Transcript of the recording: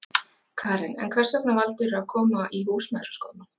Karen: En hvers vegna valdirðu að koma í Húsmæðraskólann?